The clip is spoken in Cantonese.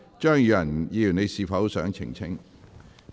張宇人議員，你是否想澄清？